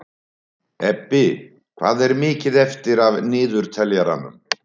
Ebbi, hvað er mikið eftir af niðurteljaranum?